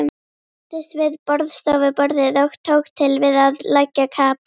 Settist við borðstofuborðið og tók til við að leggja kapal.